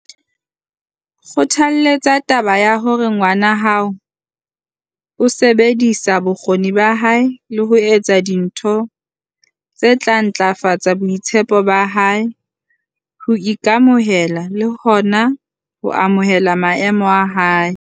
Kgothaletsa taba ya hore ngwana hao o sebedisa bokgoni ba hae le ho etsa dintho tse tla ntlafatsa boitshepo ba hae, ho ika-mohela le hona ho amohela maemo a hae.